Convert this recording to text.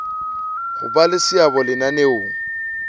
ho ba le seabo lenaneong